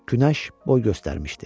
Günəş boy göstərmişdi.